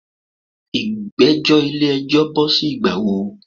Igbẹjọ ile-ẹjọ jẹ bo si Ìgbà wo?